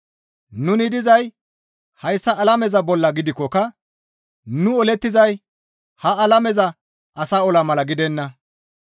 Nuni dizay hayssa alameza bolla gidikkoka nu olettizay ha alameza asa ola mala gidenna.